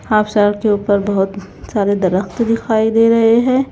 Half शेल्ड के ऊपर बहोत सारे दरख्त दिखाई दे रहे हैं।